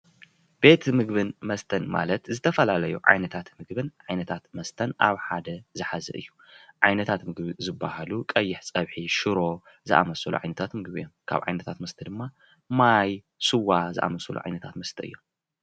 ቤት ምግብን መስተን ማለት ዝተፈላለዩ ዓይነታት ምግብን ዓይነታት መስተን ኣብ ሓደ ዝሓዘ እዩ፡፡ ዓይነታት ምግቢ ዝባሃሉ ቀይሕ ፀብሒ፣ ሽሮ ዝኣምሰሉ ዓይነታት ምግቢታት እዮም፡፡ ካብ ዓይነታት መስታት ድማ ማይ፣ ስዋ ዝኣምሰሉ ዓይነታት መስታት እዮም፡፡